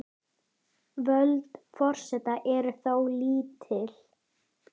Völd forseta eru þó lítil.